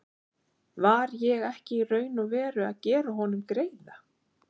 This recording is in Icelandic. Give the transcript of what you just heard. Var ég ekki í raun og veru að gera honum greiða?